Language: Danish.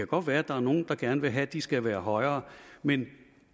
godt være at der er nogle der gerne vil have at de skal være højere men